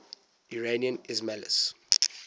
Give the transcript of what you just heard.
iranian ismailis